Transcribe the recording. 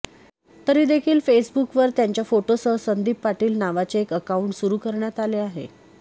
तरी देखील फेसबुकवर त्यांच्या फोटोसह संदीप पाटील नावाचे एक अकाऊंट सुरु करण्यात आले आहे